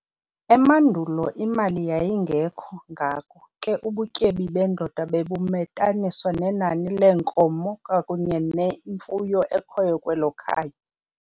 emandulo imali yayigekho ngako ke ubutyebi bendoda bebumetaniswa nenani leenkomo kwakunye nenye imfuyo ekhoyo kwelo khaya.